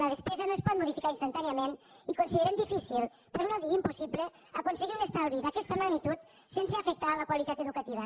la despesa no es pot modificar instantàniament i considerem difícil per no dir impossible aconseguir un estalvi d’aquesta magnitud sense afectar la qualitat educativa